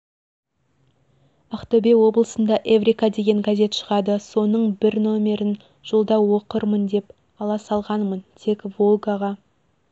ақтөбе облысында эврика деген газет шығады соның бір нөмерін жолда оқырмын деп ала салғанмын тек волгаға